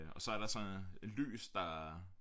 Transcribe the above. Og så er der så et lys der